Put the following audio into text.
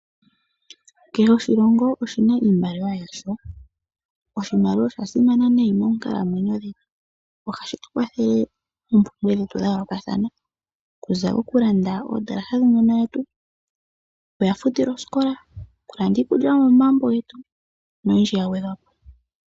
Kehe oshilongo oshina iimaliwa yasho, oshimaliwa oshasimana nayi monkalamwenyo dhetu oshitukwathele moompumbwe dhetu dhayolokathana okuza okulanda ondalaha dhuununo wetu okuya futile oskola, okulanda iikulya yomomagumbo getu noyindji yagwedhwapo.